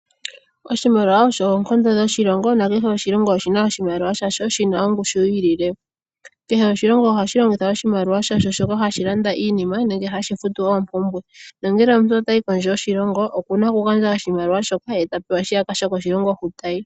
Oshimaliwa osho oonkondo dhoshilongo nakehe oshilongo oshina oshimaliwa sha sho shina ongushu yi ilile. Kehe oshilongo ohashi longitha oshimaliwa shasho shoka hashi landa iinima nenge hashi futu oompumbwe. Nongele omuntu otayi kondje yoshilongo okuna oku gandja oshimaliwa shoka ye tapewa shiyaka shokoshilongo hoka tayi.